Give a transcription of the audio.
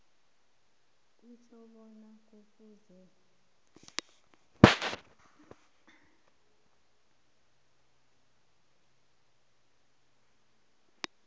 kutjho bona kufuze